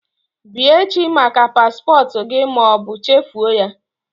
Bịa echi maka paspọtụ gị ma ọ bụ chefuo ya